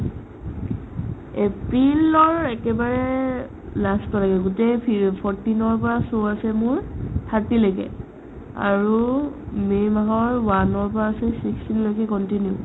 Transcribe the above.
april ৰ একেবাৰে এ last লৈকে গোটে ফি fourteen ৰ পৰা show আছে মোৰ thirty লৈকে আৰু may মাহৰ one ৰ পৰা আছে sixteen লৈকে continue